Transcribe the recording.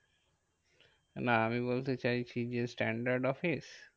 না আমি বলতে চাইছি যে, standard office?